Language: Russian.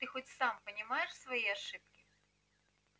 ты хоть сам понимаешь свои ошибки